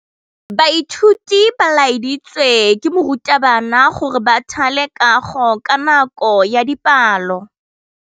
Baithuti ba laeditswe ke morutabana gore ba thale kagô ka nako ya dipalô.